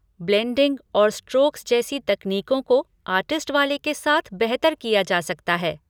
Blending और strokes जैसी तकनीकों को आर्टिस्ट वाले के साथ बेहतर किया जा सकता है।